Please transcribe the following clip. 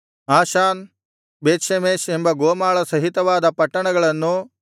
Ashan Beth Shemesh ಎಂಬ ಗೋಮಾಳ ಸಹಿತವಾದ ಪಟ್ಟಣಗಳನ್ನೂ